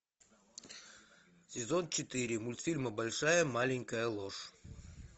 сезон четыре мультфильма большая маленькая ложь